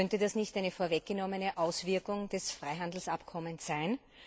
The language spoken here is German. Könnte das nicht eine vorweggenommene Auswirkung des Freihandelsabkommens sein?